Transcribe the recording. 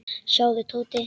Sjáðu, Tóti.